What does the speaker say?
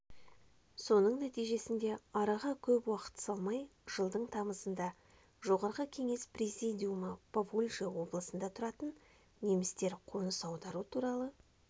соның нәтижесінде араға көп уақыт салмай жылдың тамызында жоғарғы кеңес президиумы поволжье облысында тұратын немістер қоныс аудару туралы